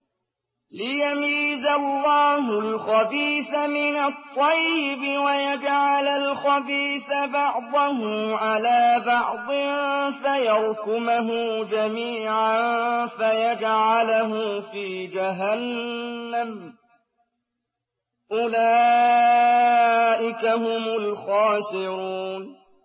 لِيَمِيزَ اللَّهُ الْخَبِيثَ مِنَ الطَّيِّبِ وَيَجْعَلَ الْخَبِيثَ بَعْضَهُ عَلَىٰ بَعْضٍ فَيَرْكُمَهُ جَمِيعًا فَيَجْعَلَهُ فِي جَهَنَّمَ ۚ أُولَٰئِكَ هُمُ الْخَاسِرُونَ